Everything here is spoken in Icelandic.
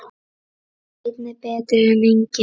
Einn er betri en enginn!